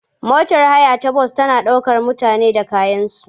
Motar haya ta bas tana ɗaukar mutane da kayansu.